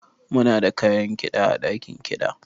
Muna da kayan kida ã dakin kida.